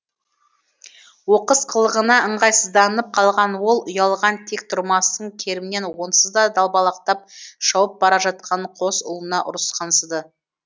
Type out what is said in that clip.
оқыс қылығына ыңғайсызданып қалған ол ұялған тек тұрмастың керімен онсызда далбалақтап шауып бара жатқан қос ұлына ұрысқансыды